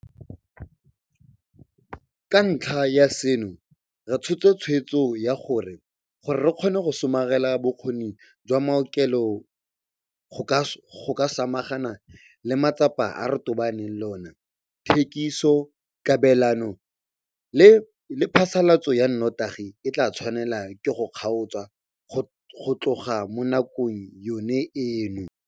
Ka ntlha ya seno, re tshotse tshwetso ya gore, gore re kgone go somarela bokgoni jwa maokelo go ka samagana le matsapa a re tobaneng le ona, thekiso, kabelano le phasalatso ya notagi e tla tshwanelwa ke go kgaotswa go tloga mo nakong yone eno.